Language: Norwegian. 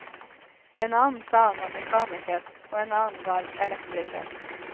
En annen sa han var mekaniker, og en annen var elektriker.